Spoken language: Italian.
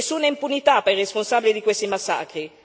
Nessuna impunità per i responsabili di questi massacri.